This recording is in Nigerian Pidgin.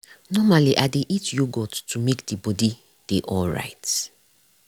normally i dey eat yogurt to make the body day alright.